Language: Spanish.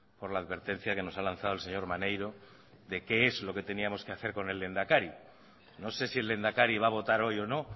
por la advertencia que nos ha lanzado el señor maneiro de qué es lo que teníamos que hacer con el lehendakari no sé si el lehendakari va a votar hoy o no